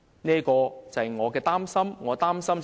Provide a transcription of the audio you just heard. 這正是我所擔心的。